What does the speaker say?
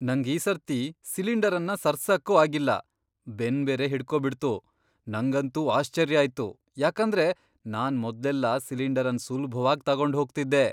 ನಂಗ್ ಈ ಸರ್ತಿ ಸಿಲಿಂಡರ್ ಅನ್ನ ಸರ್ಸಕ್ಕೂ ಆಗಿಲ್ಲ ಬೆನ್ ಬೇರೆ ಹಿಡ್ಕೋ ಬಿಡ್ತು. ನಂಗಂತೂ ಆಶ್ಚರ್ಯ ಆಯ್ತು ಯಾಕಂದ್ರೆ ನಾನ್ ಮೊದ್ಲೆಲ್ಲಾ ಸಿಲಿಂಡರ್ ಅನ್ ಸುಲ್ಭವಾಗ್ ತಗೊಂಡ್ ಹೋಗ್ತಿದ್ದೆ.